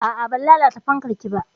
A'a, ban lalata fankar ki ba.